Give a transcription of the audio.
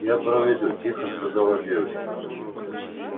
я проведу тихо сказала девочка